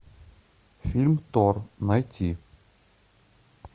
фильм тор найти